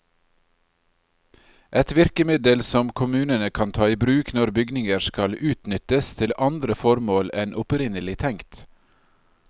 Et virkemiddel som kommunene kan ta i bruk når bygninger skal utnyttes til andre formål enn opprinnelig tenkt.